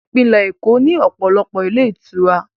Ìpínlẹ̀ Èkó ní ọ̀pọ̀lọpọ̀ ilé ìtura